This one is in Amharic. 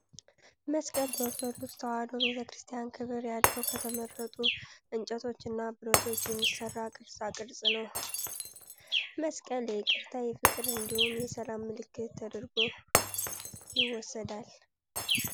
መስቀል በኦርቶዶክስ ተዋሕዶ ቤተክርስቲያን ክብር ያለው ከተመረጡ እንጨቶች እና ብረቶች የሚሰራ ቅርፃ ቅርፅ ነው። መስቀል የይቅርታ፣ የፍቅር እንዲሁም የሰላም ምልክት ተደርጎ ይወሰዳል።